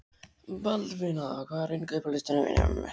Baldvina, hvað er á innkaupalistanum mínum?